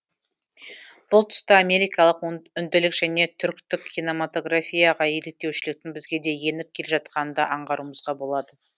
бұл тұста америкалық үнділік және түріктік киномотаграфияға еліктеушіліктің бізге де еніп келе жатқанын да аңғаруымызға болады